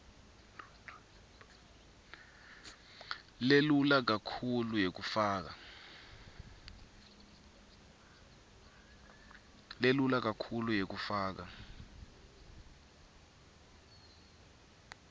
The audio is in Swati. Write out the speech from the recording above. lelula kakhulu yekufaka